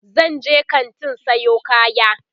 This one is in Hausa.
zanje kantin Sayo kaya